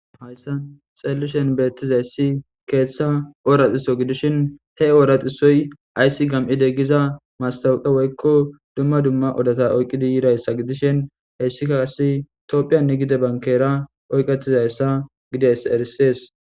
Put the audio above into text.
Hayssa xeellishen beettizayssi keeththa ooraxiso gidishin he ooraxisoy ayssi gam7ide giza mastawuqe woykko dumma dumma odata oyqqidi yirayssa gidishin heyssika asi toophiyanne gide bankera oyqetizayssa gides erisees.